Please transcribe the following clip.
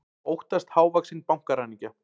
Óttast hávaxinn bankaræningja